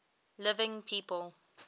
living people